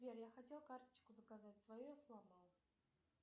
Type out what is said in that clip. сбер я хотел карточку заказать свою я сломал